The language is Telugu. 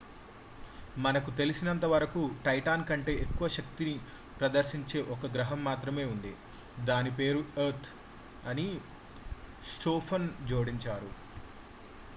మనకు తెలిసినంతవరకు టైటాన్ కంటే ఎక్కువ శక్తిని ప్రదర్శించే ఒక గ్రాహం మాత్రమే ఉంది దాని పేరు ఎర్త్ అని స్టోఫాన్ జోడించారు